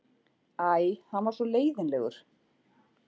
Æ, hann var svo leiðinlegur.